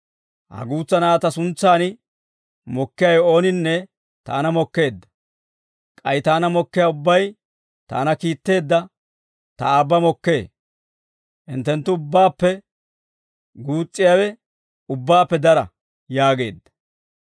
«Ha guutsa na'aa ta suntsaan mokkiyaawe ooninne taana mokkeedda; k'ay taana mokkiyaa ubbay, taana kiitteedda ta aabba mokkee. Hinttenttu ubbaappe guus's'iyaawe ubbaappe dara» yaageedda.